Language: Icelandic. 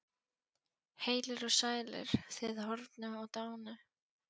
Heilir og sælir, þið horfnu og dánu.